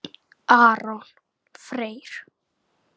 Aron Freyr.